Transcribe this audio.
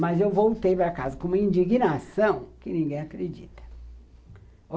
Mas eu voltei para casa com uma indignação que ninguém acredita.